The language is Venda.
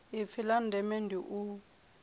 ipfi la ndeme ndi u